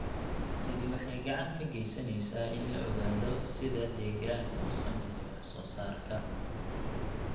Tani waxay gacan ka geysaneysaa in la ogaado sida deegaanku u saameeyo wax soo saarka.